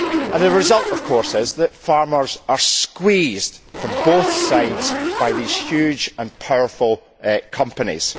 The result, of course, is that farmers are squeezed from both sides by these huge and powerful companies.